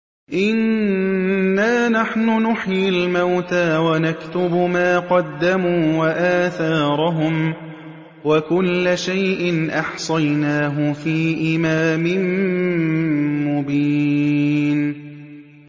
إِنَّا نَحْنُ نُحْيِي الْمَوْتَىٰ وَنَكْتُبُ مَا قَدَّمُوا وَآثَارَهُمْ ۚ وَكُلَّ شَيْءٍ أَحْصَيْنَاهُ فِي إِمَامٍ مُّبِينٍ